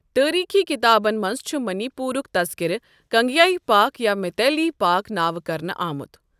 تٲریٖخی کتابَن منٛز چُھ منی پورُک تذکرٕ کنگلِیایہ پاک یا میتیلی پاک نٲوِٕ كرنہٕ آمت ۔